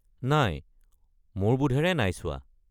নাই, মোৰ বোধেৰে নাই চোৱা।